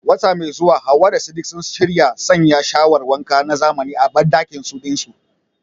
Wata mai zuwa Hawwa da Sadiq sun shirya sanya shawar wanka na zamani a bandakinsu dinsu.